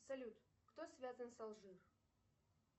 салют кто связан с алжир